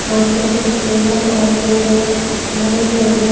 यहां पे कुछ टेबल और चेयर्स लकड़ी के बने--